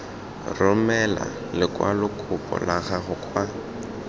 romela lekwalokopo la gago kwa